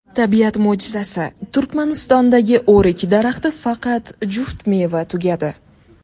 Tabiat mo‘jizasi: Turkmanistondagi o‘rik daraxti faqat juft meva tugadi .